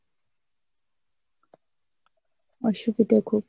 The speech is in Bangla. অসুবিধা খুব